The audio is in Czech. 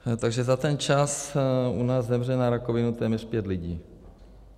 Takže za ten čas u nás zemře na rakovinu téměř pět lidí.